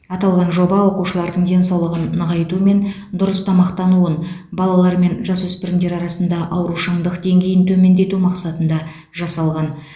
аталған жоба оқушылардың денсаулығын нығайту мен дұрыс тамақтануын балалар мен жасөспірімдер арасында аурушаңдық деңгейін төмендету мақсатында жасалған